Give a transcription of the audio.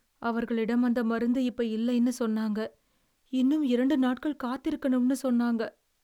அவர்களிடம் அந்த மருந்து இப்ப இல்லைன்னு சொன்னாங்க. இன்னுமட் இரண்டு நாட்கள் காத்திருக்கனும்னு சொன்னாங்க.